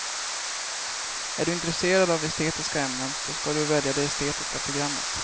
Är du intresserad av estetiska ämnen så ska du välja det estetiska programmet.